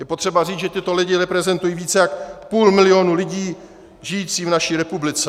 Je potřeba říci, že tito lidé reprezentují více jak půl milionu lidí žijících v naší republice.